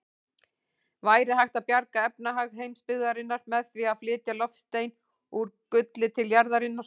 Væri hægt að bjarga efnahag heimsbyggðarinnar með því að flytja loftstein úr gulli til jarðarinnar?